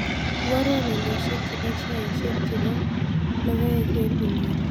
Iborwon olyosiek chebo sheaisiek chebo logooek eng' inguni